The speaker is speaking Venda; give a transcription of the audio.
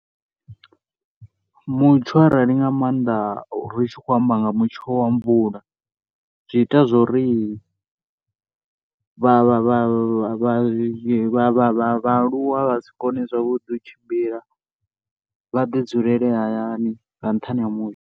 Mutsho arali nga maanḓa ri tshi khou amba nga mutsho wa mvula, zwi ita zwori vha vha vha vhaaluwa vha si koni zwavhuḓi u tshimbila, vha ḓi dzulele hayani nga nṱhani ha mutsho.